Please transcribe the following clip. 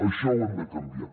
això ho hem de canviar